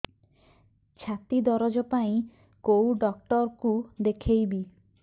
ଛାତି ଦରଜ ପାଇଁ କୋଉ ଡକ୍ଟର କୁ ଦେଖେଇବି